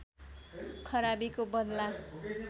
खराबीको बदला